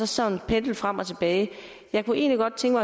sådan pendlen frem og tilbage jeg kunne egentlig godt tænke